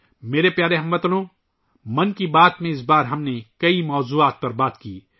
میرے پیارے ہم وطنو، اس بار 'من کی بات ' میں بھی ، ہم نے کئی موضوعات پر بات کی